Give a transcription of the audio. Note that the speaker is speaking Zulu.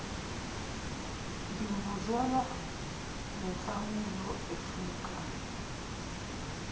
ngimbuzela nenhlawulo efunekayo